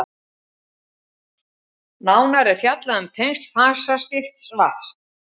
nánar er fjallað um tengsl fasaskipta vatns